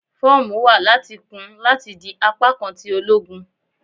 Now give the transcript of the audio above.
Fọọmu wa lati kun lati di apakan ti ologun